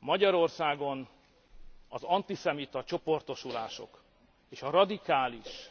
Magyarországon az antiszemita csoportosulások és a radikális